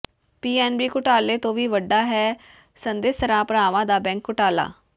PNB ਘੁਟਾਲੇ ਤੋਂ ਵੀ ਵੱਡਾ ਹੈ ਸੰਦੇਸਰਾ ਭਰਾਵਾਂ ਦਾ ਬੈਂਕ ਘੁਟਾਲਾ